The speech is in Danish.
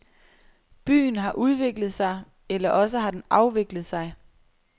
Byen har udviklet sig, eller også har den afviklet sig.